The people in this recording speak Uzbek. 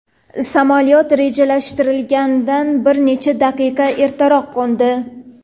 Samolyot rejalashtirilganidan bir necha daqiqa ertaroq qo‘ndi.